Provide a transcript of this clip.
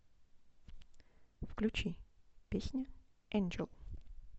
включи песня энджел